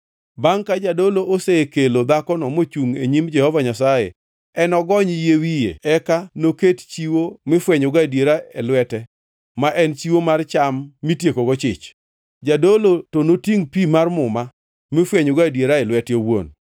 Bangʼ ka jadolo osekelo dhakono mochungʼ e nyim Jehova Nyasaye, enogony yie wiye eka noket chiwo mifwenyogo adiera e lwete ma en chiwo mar cham mitiekogo chich. Jadolo to notingʼ pi mar muma mifwenyogo adiera e lwete owuon.